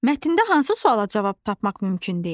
Mətndə hansı suala cavab tapmaq mümkün deyil?